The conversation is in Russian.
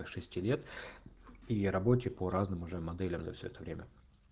по шести лет и о работе по разным уже моделям да все это время